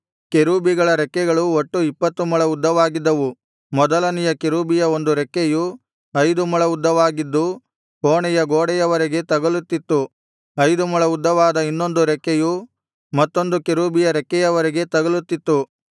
ಕೆರೂಬಿಗಳ ರೆಕ್ಕೆಗಳು ಒಟ್ಟು ಇಪ್ಪತ್ತು ಮೊಳ ಉದ್ದವಾಗಿದ್ದವು ಮೊದಲನೆಯ ಕೆರೂಬಿಯ ಒಂದು ರೆಕ್ಕೆಯು ಐದು ಮೊಳ ಉದ್ದವಾಗಿದ್ದು ಕೋಣೆಯ ಗೋಡೆಯವರೆಗೆ ತಗಲುತ್ತಿತ್ತು ಐದು ಮೊಳ ಉದ್ದವಾದ ಇನ್ನೊಂದು ರೆಕ್ಕೆಯು ಮತ್ತೊಂದು ಕೆರೂಬಿಯ ರೆಕ್ಕೆಯವರೆಗೆ ತಗಲುತ್ತಿತ್ತು